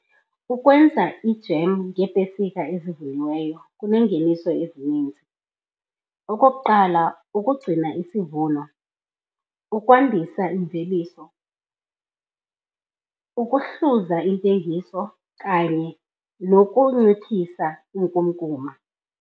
Ukwenza ijem ngeepesika ezivuniweyo kuneengeniso ezininzi. Okokuqala, ukugcina isivuno, ukwandisa imveliso, ukuhluza intengiso kanye nokunciphisa inkunkuma.